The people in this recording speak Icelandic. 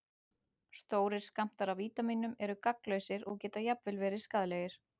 Stórir skammtar af vítamínum eru gagnslausir og geta jafnvel verið skaðlegir.